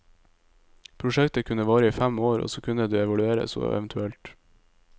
Prosjektet kunne vare i fem år, og så kunne det evalueres og evt.